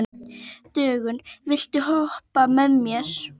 Dögun, viltu hoppa með mér?